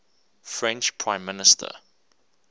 french prime minister